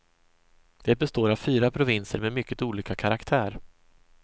Det består av fyra provinser med mycket olika karaktär.